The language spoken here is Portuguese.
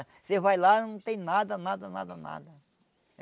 Você vai lá, não tem nada, nada, nada, nada.